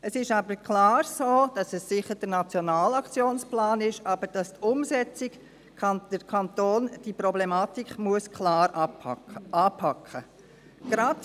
Es ist aber eindeutig so, dass es zwar schon ein Nationaler Aktionsplan ist, dass aber der Kanton diese Problematik, die Umsetzung anpacken muss.